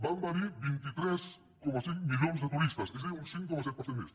van venir vint tres coma cinc milions de turistes és a dir un cinc coma set per cent més